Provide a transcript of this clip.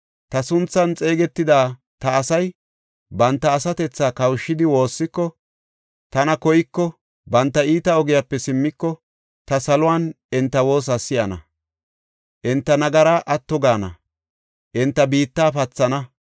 ta sunthan xeegetida ta asay banta asatethaa kawushidi woossiko, tana koyiko, banta iita ogiyape simmiko, ta salon enta woosa si7ana; enta nagaraa atto gaana; enta biitta pathana.